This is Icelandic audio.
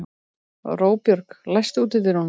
Róbjörg, læstu útidyrunum.